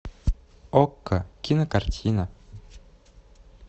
окко кинокартина